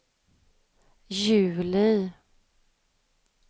juli